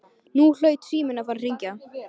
Nú hlaut síminn að fara að hringja.